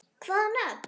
Hvaða nöfn?